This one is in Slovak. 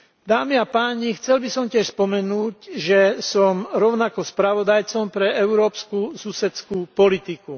Dámy a páni, chcel by som tiež spomenúť, že som rovnako spravodajcom pre európsku susedskú politiku.